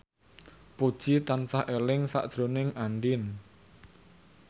Puji tansah eling sakjroning Andien